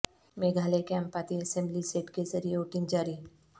میگھالیہ کے Ampati assembly seat کے ذریعہ ووٹنگ جاری